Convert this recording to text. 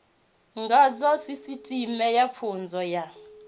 ngazwo sisiteme ya pfunzo ya